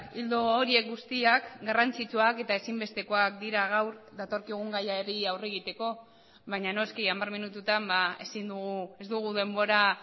ildo horiek guztiak garrantzitsuak eta ezinbestekoak dira gaur datorkigun gaiari aurre egiteko baina noski hamar minututan ezin dugu ez dugu denbora